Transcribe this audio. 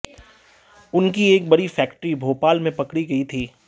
उनकी एक बड़ी फैक्ट्री भोपाल में पकड़ी गई थी